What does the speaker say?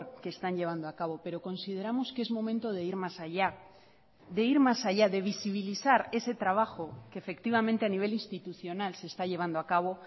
que están llevando a cabo pero consideramos que es momento de ir más allá de ir más allá de visibilizar ese trabajo que efectivamente a nivel institucional se está llevando a cabo